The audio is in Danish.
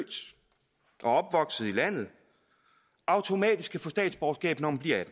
opvokset i landet automatisk kan få statsborgerskab når man bliver